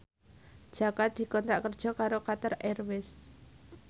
Jaka dikontrak kerja karo Qatar Airways